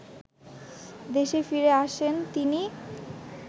দেশে ফিরে আসেন তিনি